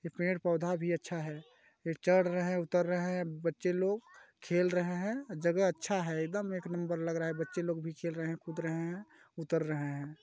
पेड़-पौधा भी अच्छा हैं ये चड़ रहे हैं उतर रहे हैं बच्चे लोग खेल रहे हैं जगह अच्छा हैं एकदम एक नंबर लग रहा हैं बच्चे लोग भी खेल रहे हैं कूद रहे हैं उतर रहे हैं।